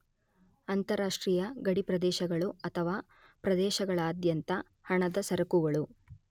ಅಂತಾರಾಷ್ಟ್ರೀಯ ಗಡಿಪ್ರದೇಶಗಳು ಅಥವಾ ಪ್ರದೇಶಗಳಾದ್ಯಂತ ಹಣದ ಸರಕುಗಳು